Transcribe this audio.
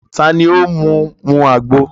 Ta ni ó mú u mu àgbo?